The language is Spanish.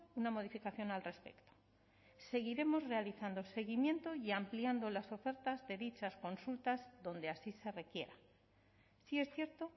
una modificación al respecto seguiremos realizando seguimiento y ampliando las ofertas de dichas consultas donde así se requiera sí es cierto